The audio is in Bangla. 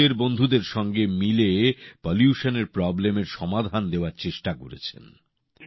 উনি নিজের বন্ধুদের সঙ্গে মিলে দূষণ সমস্যার সমাধান করার চেষ্টা করেছেন